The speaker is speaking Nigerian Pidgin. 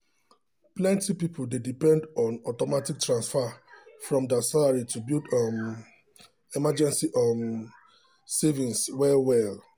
plenty people dey depend on automatic transfer from their salary to build um emergency um savings well well.